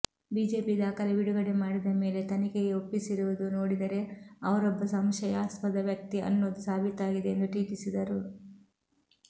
BJP ದಾಖಲೆ ಬಿಡುಗಡೆ ಮಾಡಿದ ಮೇಲೆ ತನಿಖೆಗೆ ಒಪ್ಪಿಸಿರುವುದು ನೋಡಿದರೆ ಅವರೊಬ್ಬ ಸಂಶಯಾಸ್ಪದ ವ್ಯಕ್ತಿ ಅನ್ನೋದು ಸಾಬೀತಾಗಿದೆ ಎಂದು ಟೀಕಿಸಿದರು